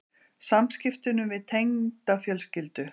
Samskiptunum við tengdafjölskyldu?